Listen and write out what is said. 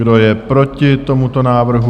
Kdo je proti tomuto návrhu?